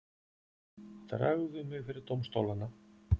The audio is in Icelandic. Dragðu mig fyrir dómstólana.